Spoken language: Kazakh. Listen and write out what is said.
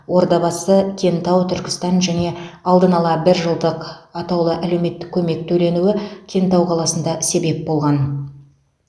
ордабасы кентау түркістан және алдын ала бір жылдық атаулы әлеуметтік көмек төленуі кентау қаласында себеп болған